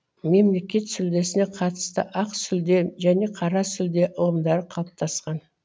мемлекет сүлдесіне қатысты ақ сүлде және қара сүлде ұғымдары қалыптасқан